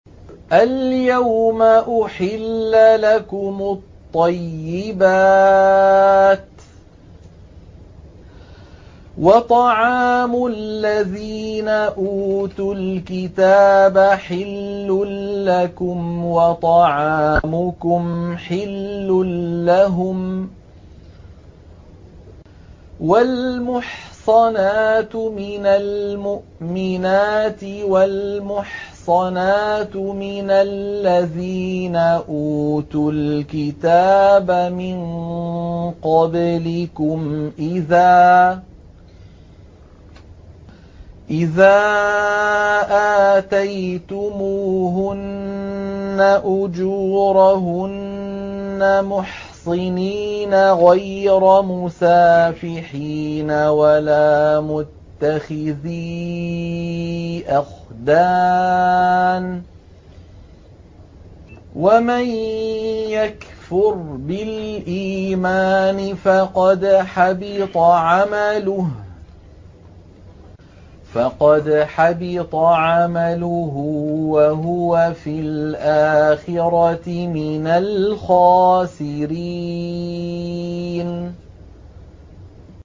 الْيَوْمَ أُحِلَّ لَكُمُ الطَّيِّبَاتُ ۖ وَطَعَامُ الَّذِينَ أُوتُوا الْكِتَابَ حِلٌّ لَّكُمْ وَطَعَامُكُمْ حِلٌّ لَّهُمْ ۖ وَالْمُحْصَنَاتُ مِنَ الْمُؤْمِنَاتِ وَالْمُحْصَنَاتُ مِنَ الَّذِينَ أُوتُوا الْكِتَابَ مِن قَبْلِكُمْ إِذَا آتَيْتُمُوهُنَّ أُجُورَهُنَّ مُحْصِنِينَ غَيْرَ مُسَافِحِينَ وَلَا مُتَّخِذِي أَخْدَانٍ ۗ وَمَن يَكْفُرْ بِالْإِيمَانِ فَقَدْ حَبِطَ عَمَلُهُ وَهُوَ فِي الْآخِرَةِ مِنَ الْخَاسِرِينَ